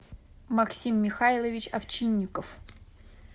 максим михайлович овчинников